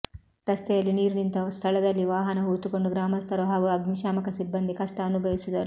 ರಸ್ತೆಯಲ್ಲಿ ನೀರು ನಿಂತ ಸ್ಥಳದಲ್ಲಿ ವಾಹನ ಹೂತುಕೊಂಡು ಗ್ರಾಮಸ್ಥರು ಹಾಗೂ ಅಗ್ನಶಾಮಕ ಸಿಬ್ಬಂದಿ ಕಷ್ಟ ಅನುಭವಿಸಿದರು